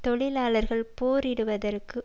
தொழிலாளர்கள் போரிடுவதற்கு